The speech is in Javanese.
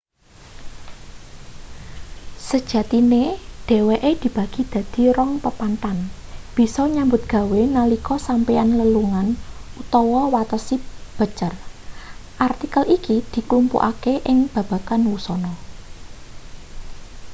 sejatine dheweke dibagi dadi rong pepanthan bisa nyambut gawe nalika sampeyan lelungan utawa watesi becer artikel iki dklumpukake ing babagan wusana